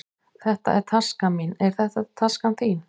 Þetta er taskan mín. Er þetta taskan þín?